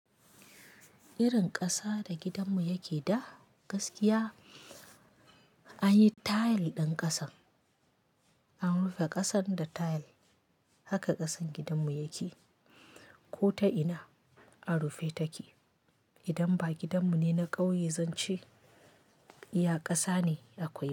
Irin ƙasa da gidanmu yake da gaskiya an yi tile ɗin ƙasan, an rufe ƙasan da tile haka ƙasan gidanmu yake. Ko ta ina an rufe take. Idan ba gidanmu ne na ƙauye, zan ce iya ƙasa ne kawai.